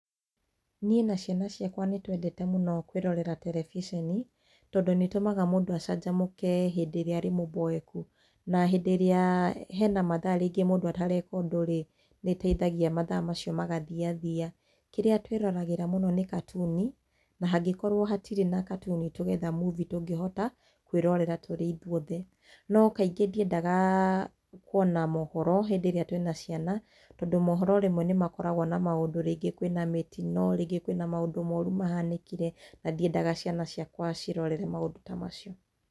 Niĩ na ciana ciakwa nĩ twendete mũno kwĩrorera terebiceni, tondũ nĩ ĩtũmaga mũndũ acanjamũke hĩndĩ ĩrĩa arĩ mũboeku, na hĩndĩ ĩrĩa hena mathaa rĩngĩ mũndũ atareka ũndũ rĩ, nĩ ĩteithagia mathaa macio magathiathia. Kĩrĩa tũĩroragĩra mũno nĩ katuni, na hangĩ korwo hatirĩ na katuni, tũgetha movie tũngĩhota kũĩrorera tũrĩ ithuothe. No kaingĩ ndiendaga kũona maũhoro, hĩndĩ ĩrĩa tũĩna ciana tondũ maũhoro hĩndĩ ĩmwe nĩ makoragwo na maũndũ, rĩngĩ kwĩna mĩtino, rĩngĩ kwĩna maũndũ moru mahanĩkire, na ndiendaga ciana ciakwa ciĩrorere maũndũ ta macio.